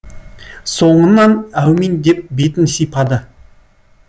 соңынан әумин деп бетін сипады